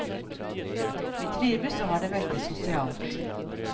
Vi trives og har det veldig sosialt.